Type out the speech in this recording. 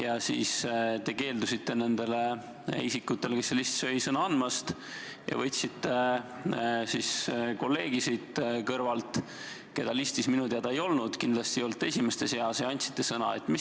Aga te keeldusite nendele isikutele, kes seal listis olid, sõna andmast ning võtsite kõrvalt kolleegi, keda minu teada listis ei olnud – kindlasti ei olnud ta esimeste seas – ja andsite sõna hoopis temale.